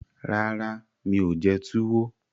Rárá, mi ò jẹ túwó